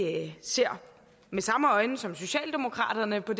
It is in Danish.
ser med samme øjne som socialdemokraterne på